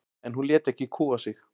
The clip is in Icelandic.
En hún lét ekki kúga sig.